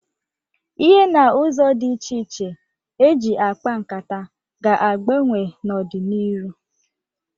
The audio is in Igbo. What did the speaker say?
Ihe n' ụzọ dị iche iche e ji akpa nkata ga-agbanwe n'ọ dị n'iru.